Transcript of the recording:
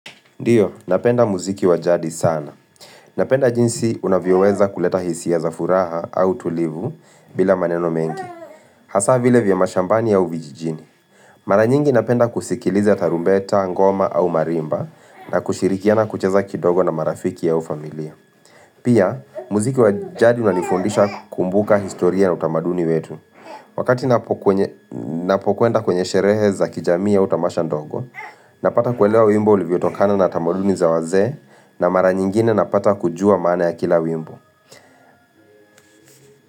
Ndio, napenda muziki wa jadi sana. Napenda jinsi unavyoweza kuleta hisia za furaha au tulivu bila maneno mengi. Hasa vile vya mashambani au vijijini. Mara nyingi napenda kusikiliza tarumbeta, ngoma au marimba na kushirikiana kucheza kidogo na marafiki au familia. Pia, muziki wa jadi unanifundisha kukumbuka historia na utamaduni wetu. Wakati napokwenda kwenye sherehe za kijamii au tamasha ndogo, Napata kuelewa wimbo ulivyotokana na tamaduni za wazee na mara nyingine napata kujua maana ya kila wimbo.